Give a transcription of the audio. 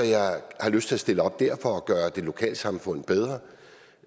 har lyst til at stille op der for at gøre lokalsamfundet bedre